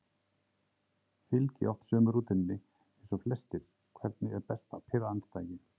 Fylgi oft sömu rútínunni eins og flestir Hvernig er best að pirra andstæðinginn?